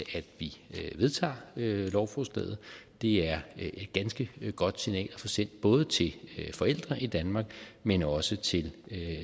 vi vedtager lovforslaget det er et ganske signal at få sendt både til forældre i danmark men også til